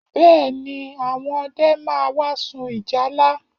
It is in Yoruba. Bẹ́ẹ̀ ni, àwọn ọdẹ máa wá sun ìjálá